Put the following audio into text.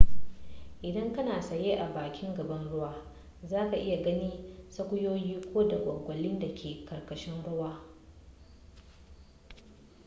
idan kana tsaye a bakin gabar ruwa za ka iya ganin tsakuyoyi ko dagwalgwalin da ke karkashin ruwan